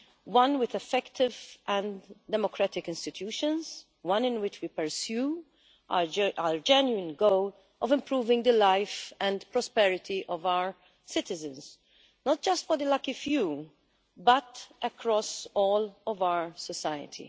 One with effective and democratic institutions, one in which we pursue our genuine goal of improving the life and prosperity of our citizens, not just for the lucky few but across all of our society.